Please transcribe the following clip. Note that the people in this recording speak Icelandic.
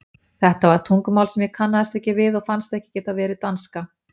Þetta var tungumál sem ég kannaðist ekki við og fannst ekki geta verið danska.